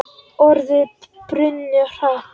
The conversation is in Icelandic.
Orðin brunnu hratt.